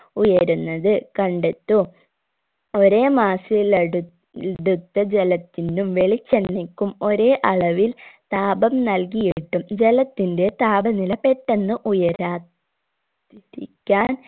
ഉയരുന്നത് കണ്ടെത്തൂ ഒരേ mass ഇൽ എടുത്ത് എടുത്ത ജലത്തിനും വെളിച്ചെണ്ണയ്ക്കും ഒരേ അളവിൽ താപം നൽകിയിട്ടും ജലത്തിന്റെ താപനില പെട്ടെന്ന് ഉയരാ തിരിക്കാൻ